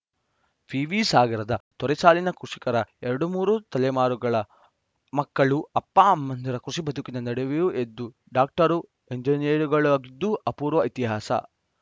ವಿವಿ ಸಾಗರದ ತೊರೆಸಾಲಿನ ಕೃಷಿಕರ ಎರಡು ಮೂರು ತಲೆಮಾರುಗಳ ಮಕ್ಕಳು ಅಪ್ಪಅಮ್ಮಂದಿರ ಕೃಷಿ ಬದುಕಿನ ನಡುವೆಯೇ ಎದ್ದು ಡಾಕ್ಟರು ಎಂಜಿನಿಯರುಗಳಾಗಿದ್ದು ಅಪೂರ್ವ ಇತಿಹಾಸ